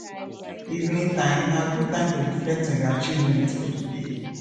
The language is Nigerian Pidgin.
evening time na good time to reflect on your achievement for di day